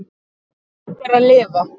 Gott er að lifa.